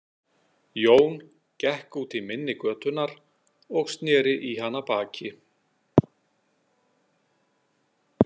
Jón gekk út í mynni götunnar og sneri í hana baki.